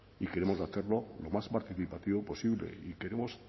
y queremos hacerlo lo más participativo posible y queremos